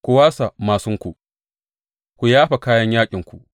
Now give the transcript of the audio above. Ku wasa māsunku, ku yafa kayan yaƙinku!